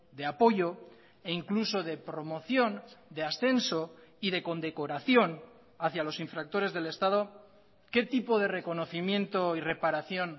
de apoyo e incluso de promoción de ascenso y de condecoración hacia los infractores del estado qué tipo de reconocimiento y reparación